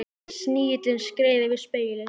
Snigillinn skreið yfir spegilinn.